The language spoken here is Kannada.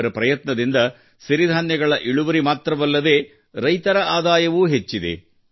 ಇವರ ಪ್ರಯತ್ನದಿಂದ ಸಿರಿಧಾನ್ಯಗಳ ಇಳುವರಿ ಮಾತ್ರವಲ್ಲದೆ ರೈತರ ಆದಾಯವೂ ಹೆಚ್ಚಿದೆ